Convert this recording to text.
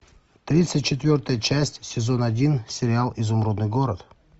тридцать четвертая часть сезон один сериал изумрудный город